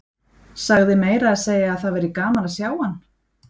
Sagði meira að segja að það væri gaman að sjá hann.